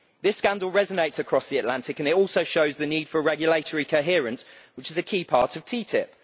on this. This scandal resonates across the Atlantic and it also shows the need for regulatory coherence, which is a key part